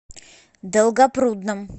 долгопрудном